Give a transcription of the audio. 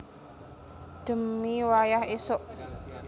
Dhemi wayah esuk